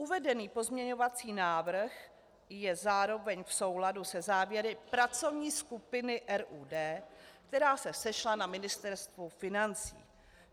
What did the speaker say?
Uvedený pozměňovací návrh je zároveň v souladu se závěry pracovní skupiny RUD, která se sešla na Ministerstvu financí.